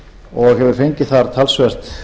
og hefur fengið þar talsvert